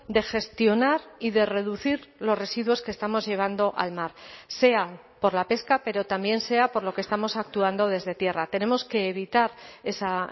de gestionar y de reducir los residuos que estamos llevando al mar sea por la pesca pero también sea por lo que estamos actuando desde tierra tenemos que evitar esa